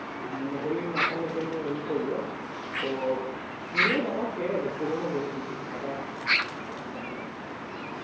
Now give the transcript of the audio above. হলি মাখানোর জন্য ইয়ে করলো। তো নে বাবা চির পুরনো গেঞ্জি আবার